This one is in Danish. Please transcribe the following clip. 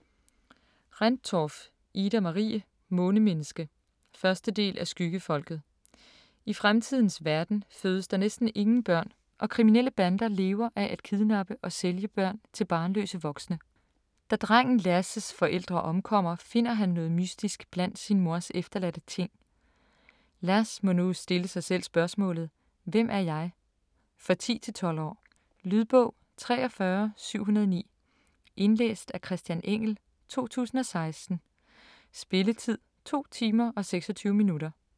Rendtorff, Ida-Marie: Månemenneske 1. del af Skyggefolket. I fremtidens verden fødes der næsten ingen børn, og kriminelle bander lever af at kidnappe og sælge børn til barnløse voksne. Drengen Lass' forældre omkommer, finder han noget mystisk blandt sin mors efterladte ting. Lass må nu stille sig selv spørgsmålet: Hvem er jeg? For 10-12 år. Lydbog 43709 Indlæst af Christian Engell, 2016. Spilletid: 2 timer, 26 minutter.